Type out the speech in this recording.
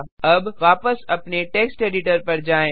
अबवापस अपने text editor पर जाएँ